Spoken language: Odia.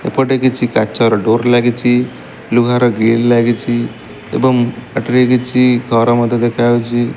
ଏପଟେ କିଛି କାଚର ଡୋର ଲାଗିଛି ଲୁହାର ଗ୍ରିଲ ଲାଗିଛି ଏବଂ ଏଠାରେ କିଛି ଘର ମଧ୍ଯ ଦେଖାଯାଉଛି।